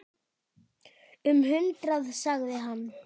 Um hundrað sagði hann.